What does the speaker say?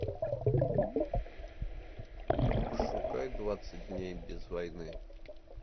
пошукай двадцать дней без войны